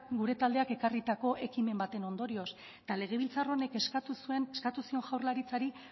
gure taldeak ekarritako ekimen baten ondorioz eta legebiltzar honek eskatu zuen jaurlaritzari